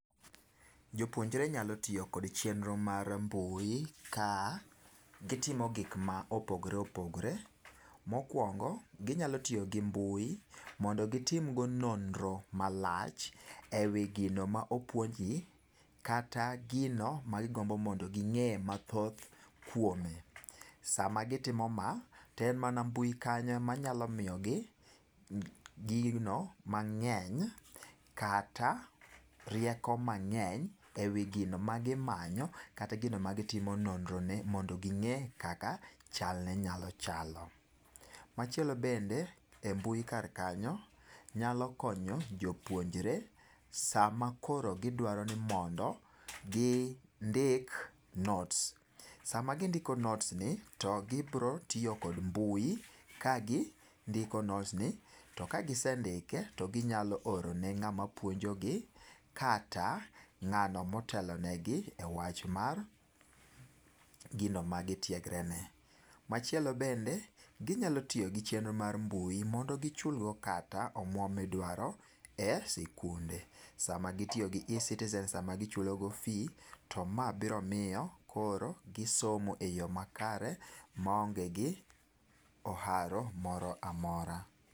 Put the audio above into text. Jopuonjre nyalo tiyo kod chenro mar mbui ka gitimo gik ma opogore opogore. Mokuongo, ginyalo tiyo gi mbui mondo gitim go nonro malach ewi gino ma opuonj gi kata gino ma gigombo mondo ging'e mathoth kuome. Sama gitimo ma to en mana mbui kanyo ema nyalo miyogi gino mang'eny kata rieko mang'eny ewi gino magimanyo kata gino magitim,o nonro ne mon do ging'e kaka chalne nyalo chalo. Machielo bende e mbui kar kanyo, nyalo konyo jopuonjre sama koro gidwaro ni mondo gindik notes. Sama gindiko notes ni, to gibiro tiyo kod mbui kagindiko notes to kagisendike to ginyalo oro ni ng'ama puonjogi kata ng'ano ma otelo negi e gino ma gitiegre ne. Machielo bende ginyalo tiyo gi chenro mar mbui mondo gichulgo omuom ma idwaro e sikunde. Sama gitiyo gi eCitizen sama gichulogo fee to ma biro miyo gisomo eyo makare maonge oharo moro amora.